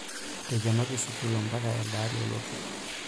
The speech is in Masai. Eikenoki sukuuli mpaka eldeari olotu.